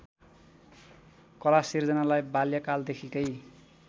कलासिर्जनालाई बाल्यकालदेखिकै